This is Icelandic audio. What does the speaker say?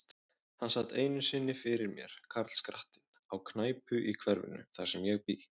Hann sat einu sinni fyrir mér, karlskrattinn, á knæpu í hverfinu, þar sem ég bý.